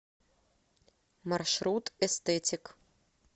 маршрут эстетик